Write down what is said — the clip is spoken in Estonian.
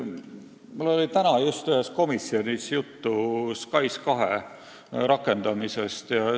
Mul oli täna ühes komisjonis juttu SKAIS2 rakendamisest.